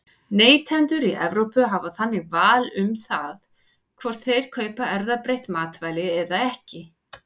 Neytendur í Evrópu hafa þannig val um það hvort þeir kaupa erfðabreytt matvæli eða ekki.